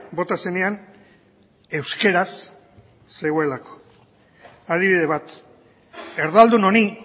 bota zenean euskeraz zegoelako adibide bat erdaldun honi